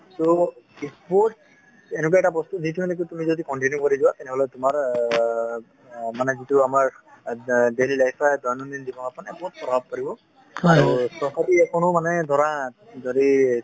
so sports এনেকুৱা এটা বস্তু যিটো নেকি যদি তুমি continue কৰি যোৱা তেনেহলে তোমাৰ অ মানে যিটো আমাৰ daily life বা দৈনন্দিন জীৱনৰ ওপৰত মানে প্ৰভাব পৰিব যদি